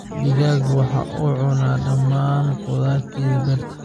Digaagga waxa ay cuneen dhammaan khudaartaydii beerta.